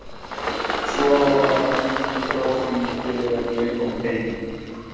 Svo var bara gengið frá því þegar ég kom heim?